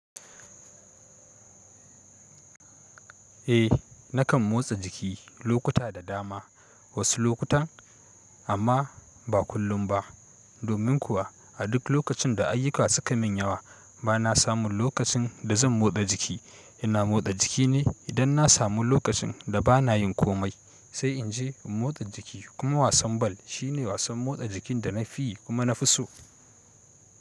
Eh, na kan motsa jiki lokuta da dama. Wasu lokutan, amma ba kullum ba domin kuwa a duk lokacin da ayyuka suka min yawa ba na samun lokacin da zan motsa jiki. Ina motsa jiki ne idan na samu lokacin da ba na yin komai, sai in je in motsa jiki. Kuma wasan ball shine wasan motsa jikin da na fi yi kuma na fi so.